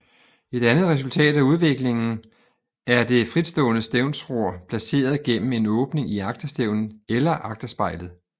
Et andet resultat af udviklingen er det fritstående stævnsror placeret gennem en åbning i agterstævnen eller agterspejlet